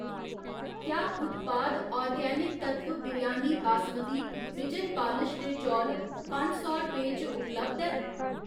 क्या उत्पाद आर्गेनिक तत्त्व बिरयानी बासमती बिजन पालश दे चौल पंज सौ रपेंऽ च उपलब्ध ऐ?